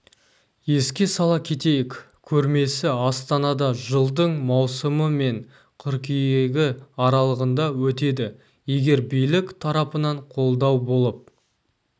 еске сала кетейік көрмесі астанада жылдың маусымы мен қыркүйегі аралығында өтеді егер билік тарапынан қолдау болып